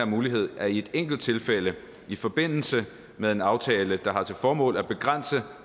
mulighed at i enkelttilfælde i forbindelse med en aftale der har til formål at begrænse